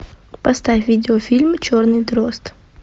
поставь видео фильм черный дрозд